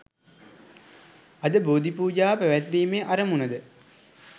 අද බෝධි පූජාව පැවැත්වීමේ අරමුණු ද